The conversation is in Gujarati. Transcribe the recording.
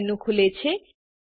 સબમેનુ ખુલે છે